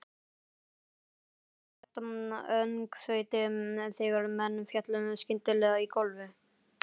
Það varð gífurlegt öngþveiti þegar menn féllu skyndilega í gólfið.